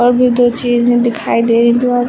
और भी दो चीजें दिखाई दे रही दो--